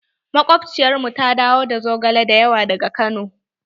Makobciyar mu ta dawo da zogale da yawa daga kano.